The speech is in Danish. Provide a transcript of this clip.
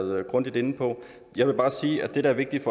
været grundigt inde på jeg vil bare sige at det der er vigtigt